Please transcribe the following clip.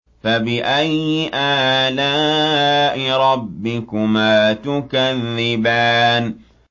فَبِأَيِّ آلَاءِ رَبِّكُمَا تُكَذِّبَانِ